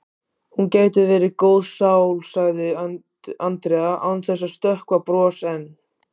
Hún gæti verið góð sál sagði Andrea án þess að stökkva bros en